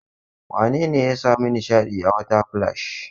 Wane ne ya sami nishaɗi a water splash?